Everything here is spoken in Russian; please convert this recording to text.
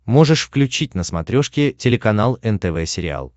можешь включить на смотрешке телеканал нтв сериал